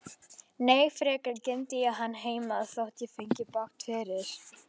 Nei, frekar geymdi ég hann heima, þótt ég fengi bágt fyrir.